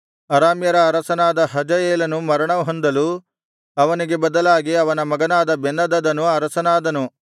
ಅರಾಮ್ಯರ ಅರಸನಾದ ಹಜಾಯೇಲನು ಮರಣಹೊಂದಲು ಅವನಿಗೆ ಬದಲಾಗಿ ಅವನ ಮಗನಾದ ಬೆನ್ಹದದನು ಅರಸನಾದನು